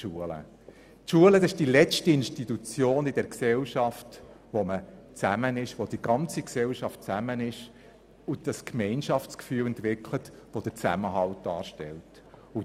Die Schule ist die letzte Institution, in der die ganze Gesellschaft zusammenkommt und ein Gemeinschaftsgefühl entwickelt wird, welches für den gesellschaftlichen Zusammenhalt wichtig ist.